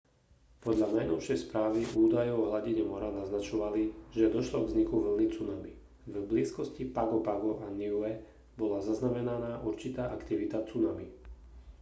podľa najnovšej správy údaje o hladine mora naznačovali že došlo k vzniku vlny tsunami v blízkosti pago pago a niue bola zaznamenaná určitá aktivita tsunami